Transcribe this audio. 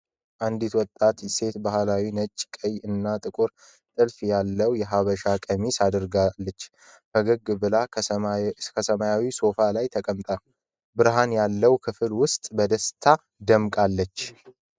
አንዲት ወጣት ሴት ባህላዊ ነጭ፣ ቀይ እና ጥቁር ጥልፍ ያለው የሐበሻ ቀሚስ አድርጋለች። ፈገግ ብላ፣ ከሰማያዊ ሶፋ ላይ ተቀምጣ፣ ብርሃን ያለበት ክፍል ውስጥ በደስታ ደምቃለች።